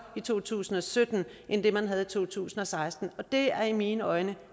i to tusind og sytten end det man havde i to tusind og seksten og det er i mine øjne